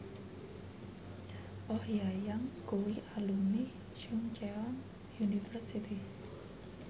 Oh Ha Young kuwi alumni Chungceong University